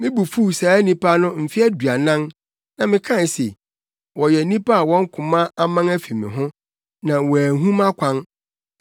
Me bo fuw saa nnipa no mfe aduanan na mekae se, “Wɔyɛ nnipa a wɔn koma aman afi me ho, na wɔanhu mʼakwan.”